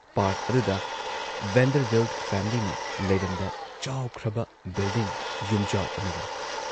Park ꯑꯗꯨꯗ Vanderbilt ꯐꯦꯃꯤꯂꯤꯅ ꯂꯩꯔꯝꯕ ꯆꯥꯎꯈ꯭ꯔꯕ ꯕꯤꯜꯗꯤꯡ ꯌꯨꯝꯖꯥꯎ ꯑꯃ ꯂꯩ ꯫